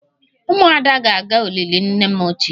Umuada ga-aga olili nne m ochie